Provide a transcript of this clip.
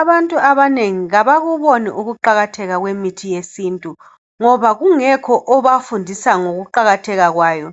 Abantu abanengi abakuboni ukuqakathekile kwemithi yesintu ngoba kungekho obafundisa ngokuqakatheka kwayo.